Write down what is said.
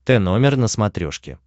тномер на смотрешке